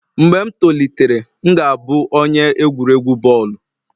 Mgbe m tolitere, m ga-abụ onye egwuregwu bọọlụ